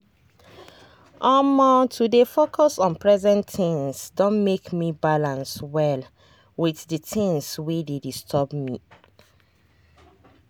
omo to dey focus on present things don make me balance well with the things wey dey disturb me.